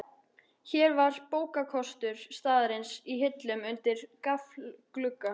Hér var bókakostur staðarins í hillum undir gaflglugga.